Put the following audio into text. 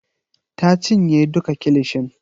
Ta cinye duka kilishin.